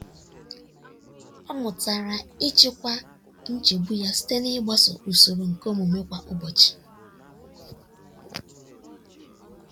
ọ mụtara ịchịkwa nchegbu ya site n'ịgbaso usoro ihe omume kwa ụbọchị.